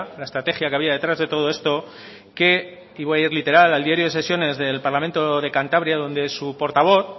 la estrategia que había detrás de todo esto que y voy a ir literal al diario de sesiones del parlamento de cantabria donde su portavoz